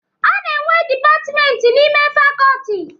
A na-enwe dipatmenti n'ime fakoti.